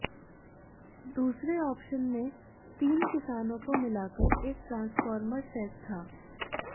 दूसरे ऑप्शन में तीन किसानों को मिलाकर एक ट्रांसफार्मर सेट था